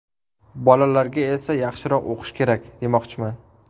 Bolalarga esa yaxshiroq o‘qish kerak, demoqchiman.